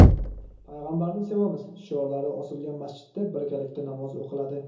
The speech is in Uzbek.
payg‘ambarni sevamiz” shiorlari osilgan masjidda birgalikda namoz o‘qiladi.